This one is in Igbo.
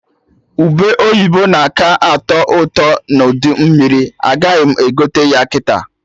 Ube oyibo na-aka atọ ụtọ n'udu mmiri, agaghị m egote ya kịta